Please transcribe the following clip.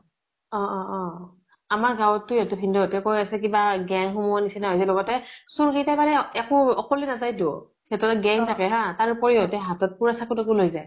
অ অ অ আমাৰ গাঁৱ্টো ভিন্দʼ হতে কৈ আছে কিবা gang সোমোৱা নিছিনা হৈছে লগতে চুৰ কেইটা মানে একো অকলে নাযায়তো। সিহঁতৰ gang থাকে হা, তাৰ উপৰিও সিহঁতে হাতত পুৰা চাবু তাকু লৈ যায়।